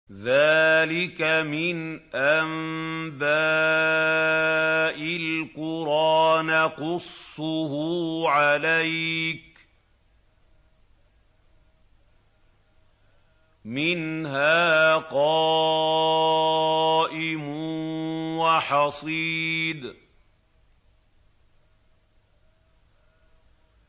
ذَٰلِكَ مِنْ أَنبَاءِ الْقُرَىٰ نَقُصُّهُ عَلَيْكَ ۖ مِنْهَا قَائِمٌ وَحَصِيدٌ